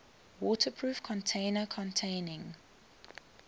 waterproof container containing